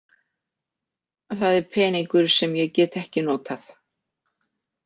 Það er peningur sem ég get ekki notað.